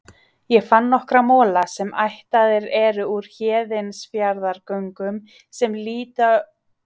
Ég fann nokkra mola, sem ættaðir eru úr Héðinsfjarðargöngum, sem líta út eins og raf.